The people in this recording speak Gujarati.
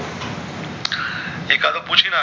એકાદો પુછી નાખ